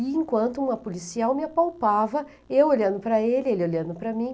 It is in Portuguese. E enquanto uma policial me apalpava, eu olhando para ele, ele olhando para mim.